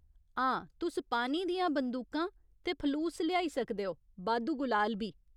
हां, तुस पानी दियां बंदूकां ते फलूस लेआई सकदे ओ, बाद्धू गुलाल बी।